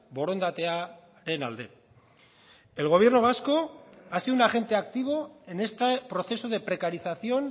borondatearen alde el gobierno vasco ha sido un agente activo en este proceso de precarización